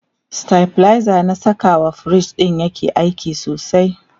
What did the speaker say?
stabilizer na Saka wa fridge ɗin yake aiki sosai